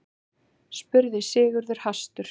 spurði Sigurður hastur.